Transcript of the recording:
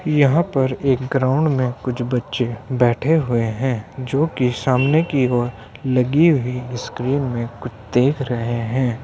यहाँ पर एक ग्राउंड में कुछ बच्चे बैठे हुए हैं जोकि सामने की ओर लगी हुई स्क्रीन में कुछ देख रहे हैं।